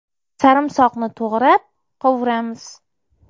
Sarimsoqni to‘g‘rab, qovuramiz.